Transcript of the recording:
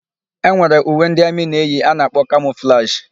E nwere uwe ndị amị na-eyi a na-akpọ kamọflajị.